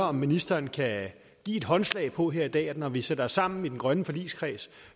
om ministeren kan give et håndslag på her i dag at når vi sætter os sammen i den grønne forligskreds